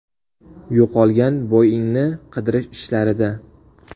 Yo‘qolgan Boeing‘ni qidirish ishlarida.